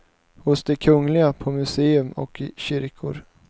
Hos de kungliga, på museum och i kyrkor.